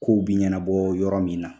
Ko bi ɲanabɔ yɔrɔ min na